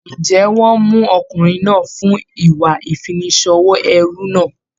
Ǹjẹ́ wọ́n mú ọkùnrin náà fún ìwà ìfiniṣòwò ẹrú náà?